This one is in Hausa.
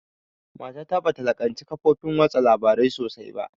Mata ta bata laƙanci kafofin watsa labarai sosai ba